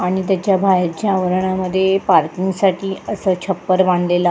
आणि तेच्या बाहेरच्या अंगनामध्ये पार्किंगसाठी अस छपर बांधलेल --